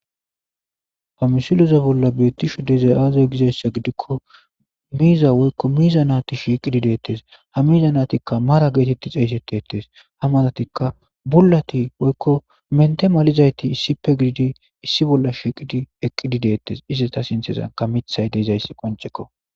Famisiloza bolla beettishu dezay aaze gizayssa gidikko miiza woykko miiza naati shiiqidi deettes ha miza naatikka mara geetetti xeyseteettes ha malatikka bullati woykko mente malizayti issippe gididi issi bolla shiiqidi eqqidi deettes iste ta sintezan ka mithay deeizayssi qoncekko.